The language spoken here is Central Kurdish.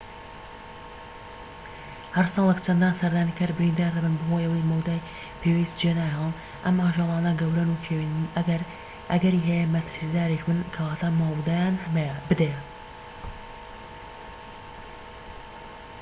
هەر ساڵێك چەندان سەردانیکار بریندار دەبن بەهۆی ئەوەی مەودای پێویست جێناهێڵن ئەم ئاژەلانە گەورەن و کێوین ئەگەری هەیە مەترسیداریش بن کەواتە مەودایان بدەیە